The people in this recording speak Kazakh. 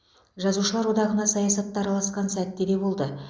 жазушылар одағына саясатта араласқан сәтте де болды